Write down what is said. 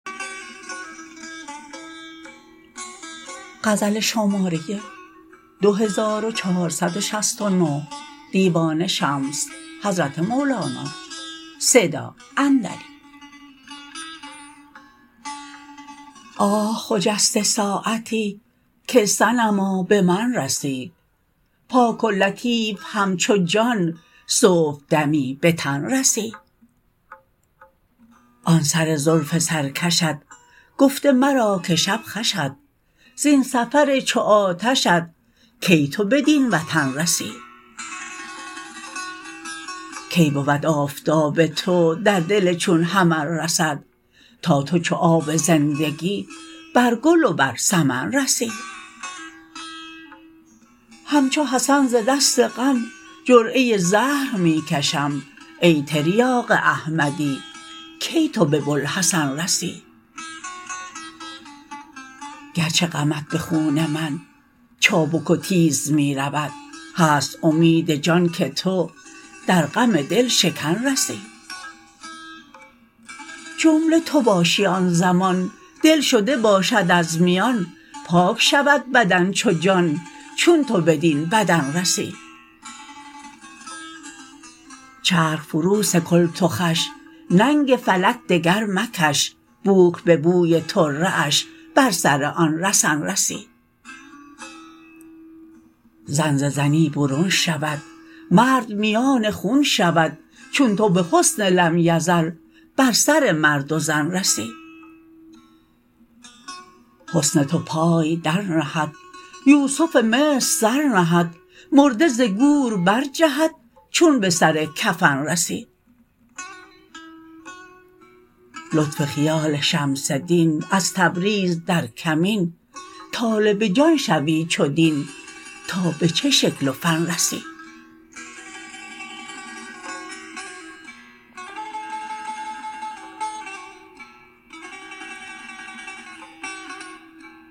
آه خجسته ساعتی که صنما به من رسی پاک و لطیف همچو جان صبحدمی به تن رسی آن سر زلف سرکشت گفته مرا که شب خوشت زین سفر چو آتشت کی تو بدین وطن رسی کی بود آفتاب تو در دل چون حمل رسد تا تو چو آب زندگی بر گل و بر سمن رسی همچو حسن ز دست غم جرعه زهر می کشم ای تریاق احمدی کی تو به بوالحسن رسی گرچه غمت به خون من چابک و تیز می رود هست امید جان که تو در غم دل شکن رسی جمله تو باشی آن زمان دل شده باشد از میان پاک شود بدن چو جان چون تو بدین بدن رسی چرخ فروسکل تو خوش ننگ فلک دگر مکش بوک به بوی طره اش بر سر آن رسن رسی زن ز زنی برون شود مرد میان خون شود چون تو به حسن لم یزل بر سر مرد و زن رسی حسن تو پای درنهد یوسف مصر سر نهد مرده ز گور برجهد چون به سر کفن رسی لطف خیال شمس دین از تبریز در کمین طالب جان شوی چو دین تا به چه شکل و فن رسی